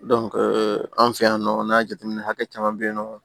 an fɛ yan nɔ an ka jateminɛ hakɛ caman bɛ yen nɔ